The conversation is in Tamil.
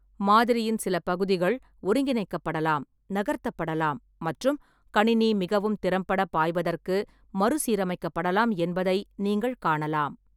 மாதிரியின் சில பகுதிகள் ஒருங்கிணைக்கப்படலாம், நகர்த்தப்படலாம் மற்றும் கணினி மிகவும் திறம்பட பாய்வதற்கு மறுசீரமைக்கப்படலாம் என்பதை நீங்கள் காணலாம்.